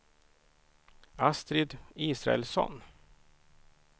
Astrid Israelsson